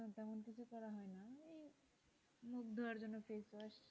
মুখ ধোয়ার জন্য ফেসওয়াশ,